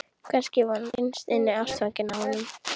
Kannski var hún innst inni ástfangin af honum.